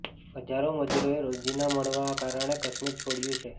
હજારો મજુરોએ રોજીના ના મળવાના કારણે કાશ્મીર છોડ્યું છે